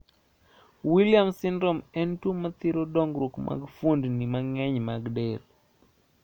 Williams syndrome en tuo mathiro dongruok mag fuondi mang`eny mag del.